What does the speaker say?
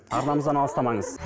арнамыздан алыстамаңыз